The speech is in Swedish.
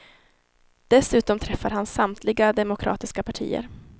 Dessutom träffar han samtliga demokratiska partier.